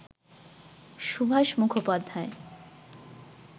Subhash Mukhopadhyay